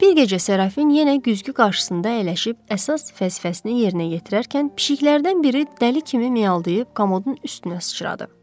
Bir gecə Serafin yenə güzgü qarşısında əyləşib əsas fəlsəfəsini yerinə yetirərkən pişkilərdən biri dəli kimi miyaldıyıb komodun üstünə sıçradı.